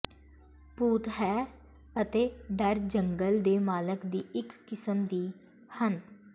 ਭੂਤ ਹੈ ਅਤੇ ਡਰ ਜੰਗਲ ਦੇ ਮਾਲਕ ਦੀ ਇੱਕ ਕਿਸਮ ਦੀ ਹਨ